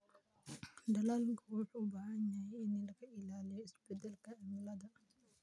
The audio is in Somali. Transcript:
Dalaggu wuxuu u baahan yahay in laga ilaaliyo isbeddelka cimilada.